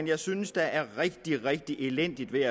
jeg synes er rigtig rigtig elendigt ved